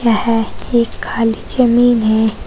यह एक खाली जमीन है।